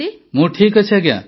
ମୁଁ ଠିକ୍ ଅଛି ଆଜ୍ଞା